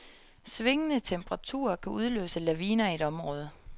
Svingende temperaturer kan udløse laviner i et område.